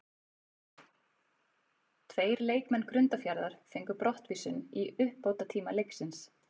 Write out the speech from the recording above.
Tveir leikmenn Grundarfjarðar fengu brottvísun í uppbótartíma leiksins.